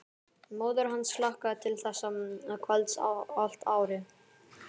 Móðir hans hlakkaði til þessa kvölds allt árið.